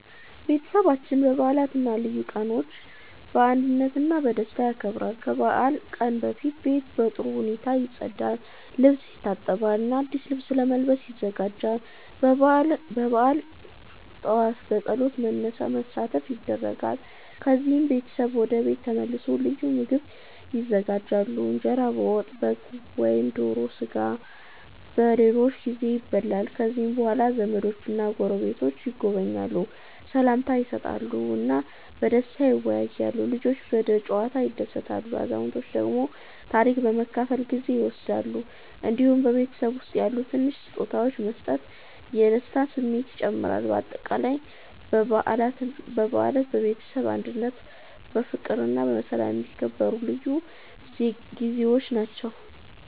ቤተሰባችን በዓላትን እና ልዩ ቀኖችን በአንድነት እና በደስታ ያከብራል። ከበዓል ቀን በፊት ቤት በጥሩ ሁኔታ ይጸዳል፣ ልብስ ይታጠባል እና አዲስ ልብስ ለመልበስ ይዘጋጃሉ። በበዓል ጠዋት በጸሎት መሳተፍ ይደረጋል፣ ከዚያም ቤተሰብ ወደ ቤት ተመልሶ ልዩ ምግቦች ይዘጋጃሉ። እንጀራ ከወጥ፣ በግ ወይም ዶሮ ስጋ በብዙ ጊዜ ይበላል። ከዚያ በኋላ ዘመዶችና ጎረቤቶች ይጎበኛሉ፣ ሰላምታ ይሰጣሉ እና በደስታ ይወያያሉ። ልጆች በጨዋታ ይደሰታሉ፣ አዛውንቶች ደግሞ ታሪክ በመካፈል ጊዜ ይወስዳሉ። እንዲሁም በቤተሰብ ውስጥ ያሉ ትንሽ ስጦታዎች መስጠት የደስታ ስሜትን ይጨምራል። በአጠቃላይ በዓላት በቤተሰብ አንድነት፣ በፍቅር እና በሰላም የሚከበሩ ልዩ ጊዜዎች ናቸው።